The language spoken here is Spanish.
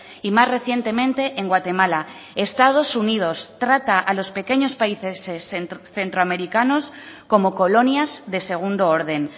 y más recientemente en guatemala estados unidos trata a los pequeños países centroamericanos como colonias de segundo orden